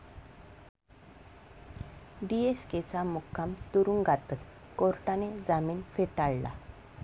डीएसकेंचा मुक्काम तुरुंगातच, कोर्टाने जामीन फेटाळला